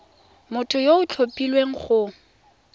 motho yo o tlhophilweng go